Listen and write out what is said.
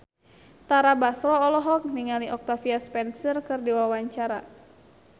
Tara Basro olohok ningali Octavia Spencer keur diwawancara